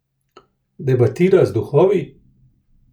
Debatira z duhovi?